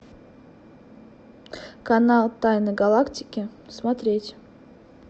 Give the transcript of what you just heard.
канал тайны галактики смотреть